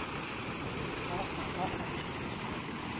tjhetjha a ba a tjhetjha